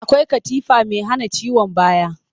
Akwai katifa mai hana ciwon baya